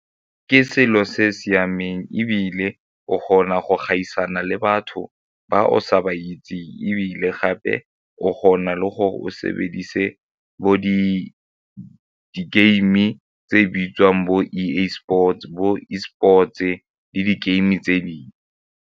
Ke selo se siameng ebile o kgona go gaisana le batho ba o sa ba itseng ebile gape o kgona le gore o sebedise bo di-game tse bitswang bo E_A sports, bo E sports-e le di game tse dingwe.